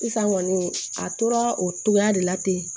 Sisan kɔni a tora o cogoya de la ten